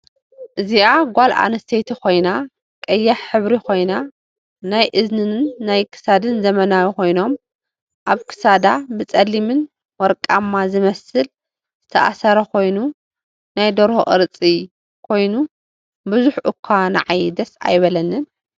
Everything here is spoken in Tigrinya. እዚአ ጋል አንስተይቲ ኮይና ቀያሕብሪ ኮይና ናይ እዝኒን ናይ ክሰድን ዘመናዊ ኮይኖም አብ ክሳዳ ብፀሊምን ወርቃማ ዝመስል ዝተአሰረ ኮይኑ ናይ ደርሆ ቅርፂ ኮይኑ ብዝሕ እካ ናዓይ ደሰ አይብለኒን!!